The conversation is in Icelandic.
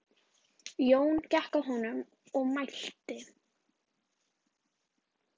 Jón gekk að honum og mælti